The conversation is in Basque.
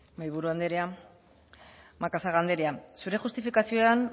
mahaiburu anderea macazaga anderea zure justifikazioan